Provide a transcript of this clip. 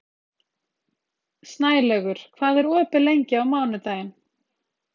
Snælaugur, hvað er opið lengi á mánudaginn?